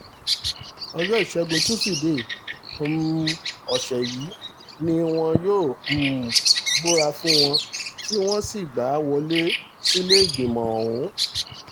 ọjọ́ ìṣègùn tusidee um ọ̀sẹ̀ yìí ni wọ́n um búra fún un tí wọ́n sì gbà á wọlé sílẹ̀ẹ́gbìmọ̀ ọ̀hún